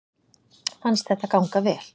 Fannst þetta ganga vel